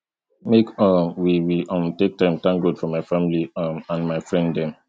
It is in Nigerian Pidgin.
make um we we um take time thank god for my family um and my friend dem